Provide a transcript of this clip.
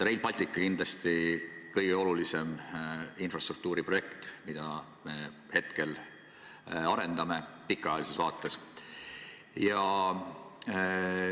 Rail Baltic on kindlasti kõige olulisem infrastruktuuri projekt, mida me hetkel arendame – kui pikemat perspektiivi silmas pidada.